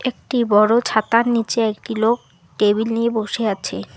একটি বড়ো ছাতার নীচে একটি লোক টেবিল নিয়ে বসে আছে।